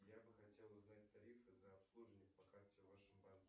я бы хотел узнать тарифы за обслуживание по карте в вашем банке